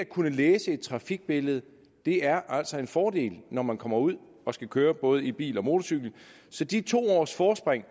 kunne læse et trafikbillede er altså en fordel når man kommer ud og skal køre både i bil og på motorcykel så de to års forspring